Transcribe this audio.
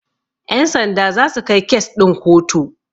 Ƴan sanda zasu kai kes ɗin ku kotu.